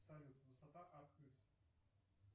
салют высота архыз